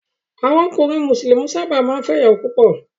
Àwọn ọkùnrin Mùsùlùmí sábà máa ń fẹ́ ìyàwó púpọ̀.